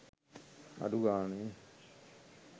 අඩු ගාණෙ